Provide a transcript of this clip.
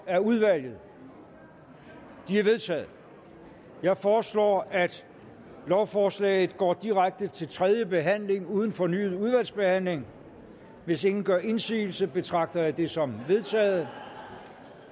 af udvalget de er vedtaget jeg foreslår at lovforslaget går direkte til tredje behandling uden fornyet udvalgsbehandling hvis ingen gør indsigelse betragter jeg det som vedtaget